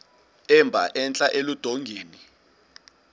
emba entla eludongeni